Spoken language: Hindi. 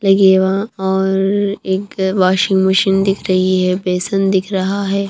लगी है वहाँ और एक वाशिंग मशीन दिख रही है बेसन दिख रहा है।